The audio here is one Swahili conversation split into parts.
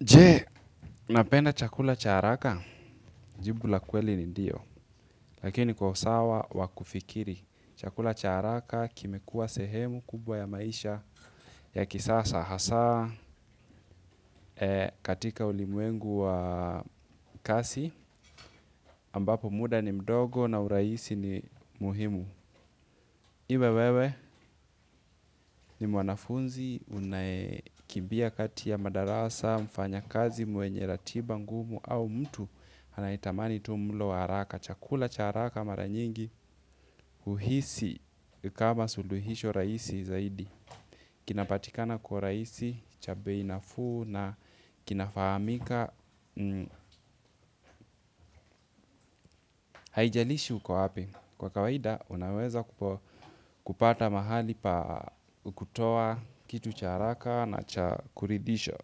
Je? Unapenda chakula cha haraka. Jibu la kweli ni ndio. Lakini kwa usawa wakufikiri. Chakula cha haraka kime kuwa sehemu kubwa ya maisha ya kisasa. Hasa katika ulimuengu wa kasi ambapo muda ni mdogo na uraisi ni muhimu. Iwe wewe ni mwanafunzi, unakimbia kati ya madarasa, mfanya kazi, mwenye ratiba, ngumu au mtu anaitamani tu mlo wa haraka, chakula cha haraka mara nyingi, uhisi kama suluhisho raisi zaidi. Kinapatikana kwa raisi, cha bei nafuu na kinafahamika, haijalishi uko wapi. Kwa kawaida, unaweza kupata mahali pa kutoa kitu cha haraka na kuridhisha.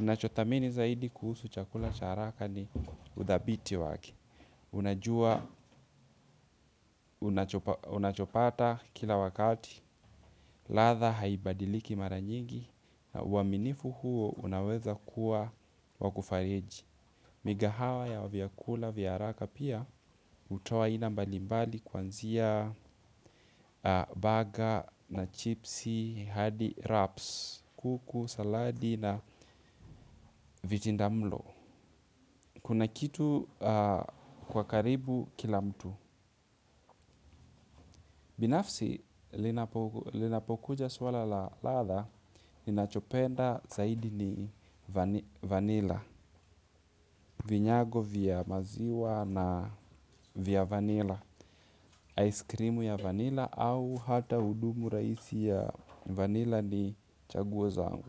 Unachothamini zaidi kuhusu chakula cha haraka ni udhabiti waki. Unajua, unachopata kila wakati, latha haibadiliki maranyingi. Waminifu huo, unaweza kuwa wakufariji. Migahawa ya vyakula vya haraka pia hutoa aina mbalimbali kwanzia baga na chipsi, hadi raps, kuku, saladi na vijindamlo. Kuna kitu kwa karibu kila mtu. Binafsi linapokuja swala la latha ni nachopenda zaidi ni vanila, vinyago vya maziwa na vya vanila, ice creamu ya vanila au hata udumu raisi ya vanila ni chaguo zangu.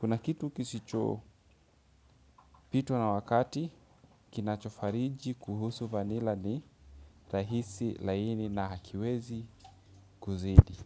Kuna kitu kisicho pitwa na wakati kinachofariji kuhusu vanila ni rahisi laini na hakiwezi kuzidi.